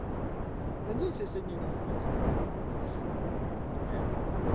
надеюсь я сегодня не сдохну реально